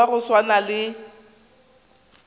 motho wa go swana le